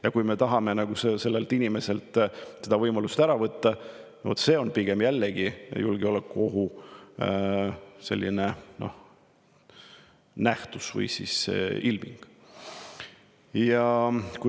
Ja kui me tahame sellelt inimeselt seda võimalust ära võtta, siis pigem see on julgeolekuohu nähtus või ilming.